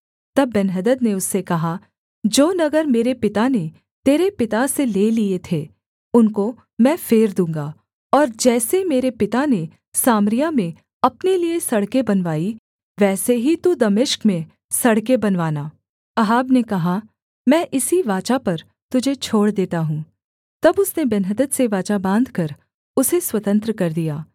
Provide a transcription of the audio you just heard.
तब बेन्हदद ने उससे कहा जो नगर मेरे पिता ने तेरे पिता से ले लिए थे उनको मैं फेर दूँगा और जैसे मेरे पिता ने सामरिया में अपने लिये सड़कें बनवाईं वैसे ही तू दमिश्क में सड़कें बनवाना अहाब ने कहा मैं इसी वाचा पर तुझे छोड़ देता हूँ तब उसने बेन्हदद से वाचा बाँधकर उसे स्वतंत्र कर दिया